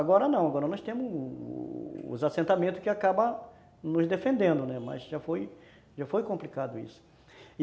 Agora não, agora nós temos os assentamentos que acabam nos defendendo, né, mas já foi, já foi complicado isso.